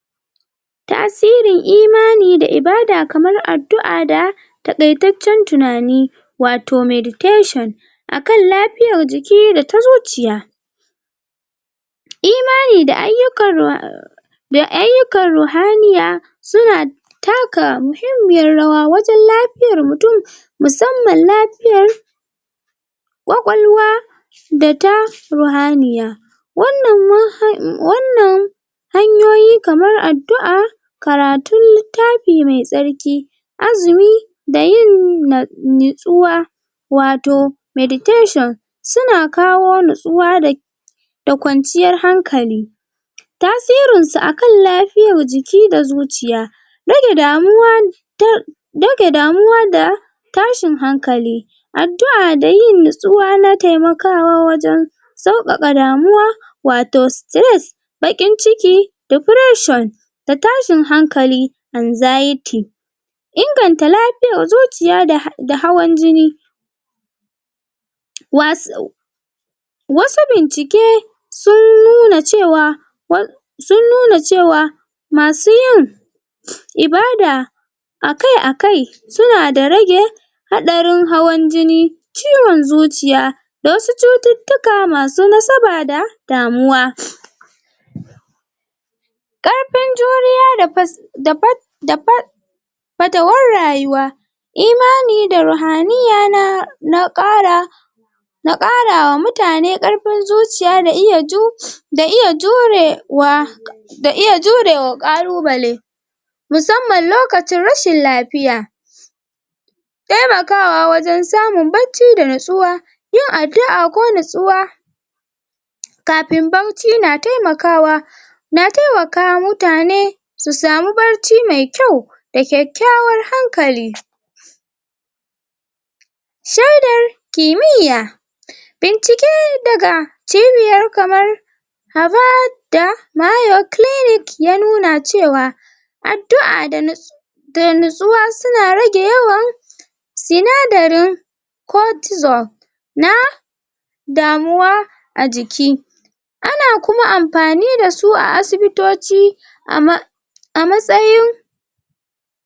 tasirin imanai da ibada kamar addua da takaitaccen tunani wato meditation akan lapiyar jiki da ta zuciya imani da ayyukar[hesitation da ayyukan ruhaniya suna taka muhimmiyar rawa wajan laf fiyar mutun musamman lafiyar kwakwalwa data ruhaniya wannan[um] wanan hanyoyi kamar addu'a karatun littafi me tsarki azumi da yin nitsuwa wato meditaion suns kawo nitsuwa da da kwanciyar hankali tasirin su akan lafiyar jiki da zuciya rage damuwa dage damuwa da tashin hankali adu'a da yin nitsuwa na temakawa wajan sauƙaƙa damuwa wato stress bakin ciki da presure da tashin hankali anxiety inganta lapiyar zuciya da hawan jinj wasu wasu bincike sun nuna cewa um sun nuna cewa masu yin ibada akai akai suna da rage haɗarin hawan jijni ciwon zuciya da wasu cututtuka masu nasaba da damuwa karfin juriya da fus da da far fatawar rayuwa imani da ruhaniya na na ƙara na kara wa mutane karfin zuciya da iya ju da iya jure wa da iya jure wa ƙalubale musamman lokacin rashin lafiya temakawa wajan samun bacci da natsuwa yin adu'a ko nitsuwa kafin barci na temakawa na temakawa mutane su samu barci me kyau da kyakyawar hankali shedar kimiya bincike daga cibiyar kamar harvard da mayo clinic ya nuna cewa addu'a da nit da nitsuwa suna rage yawan sinadarin cotizol na damuwa ajiki ana kuma anpani dasu a asibitoci um amatsayin